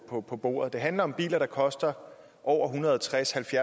på på bordet det handler om biler der koster over ethundrede og tredstusind